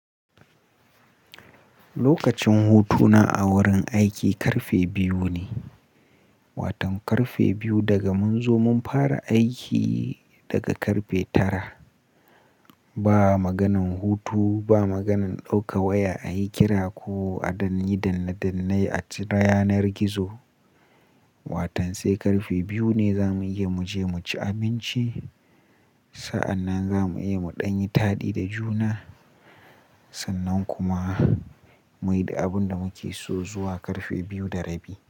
Lokacin hutuna a wurin aiki karfe biyu ne. Watan karfe biyu daga mun zo mun fara aiki daga karfe tara. Ba maganin hutu ba maganin ɗauka waya a yi kira ko a danni danne dannai a ci yanar gizo. Watan sai karfe biyu ne za mu iya mu je mu ci abinci. Sa'an nan za mu iya mu ɗan yi taɗi da juna. Sannan kuma mu yi da abun da muke so zuwa karfe biyu da rabi.